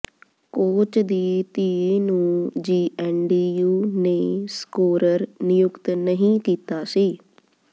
coach ਦੀ ਧੀ ਨੂੰ ਜੀਐਨਡੀਯੂ ਨੇ ਸਕੋਰਰ ਨਿਯੁਕਤ ਨਹੀਂ ਕੀਤਾ ਸੀ